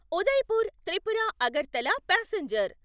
Udaipur Tripura Agartala passenger